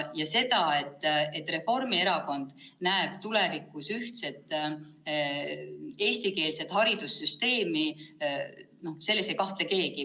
Ja selles, et Reformierakond näeb tulevikus ühtset eestikeelset haridussüsteemi, ei kahtle keegi.